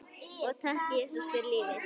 Og takk, Jesús, fyrir lífið.